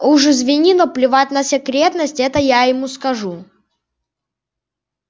уж извини но плевать на секретность ему я это скажу